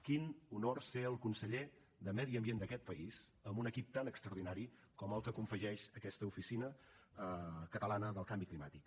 quin honor ser el conseller de medi ambient d’aquest país amb un equip tan extraordinari com el que confegeix a aquesta oficina catalana del canvi climàtic